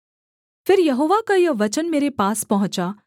फिर यहोवा का यह वचन मेरे पास पहुँचा